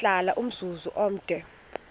wahlala umzum omde